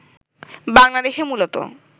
বাংলাদেশে মূলত